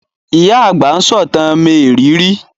Ìyá àgbà ń sọ̀tàn mériìírí